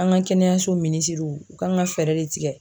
An ka kɛnɛyasow minisiriw u kan ka fɛɛrɛ de tigɛ.